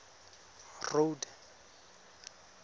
road